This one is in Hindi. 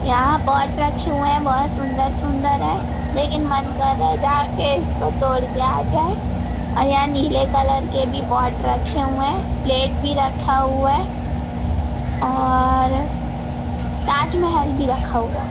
यहाँ पॉट रखी हुई है बहुत सुंदर- सुंदर है लेकिन मन कर रहा है जाके इसको तोड़ के आ जाये और यहाँ नीले कलर के भी पॉट रखे हुए है प्लेट भी रखा हुआ है और ताज महल भी रखा हुआ है।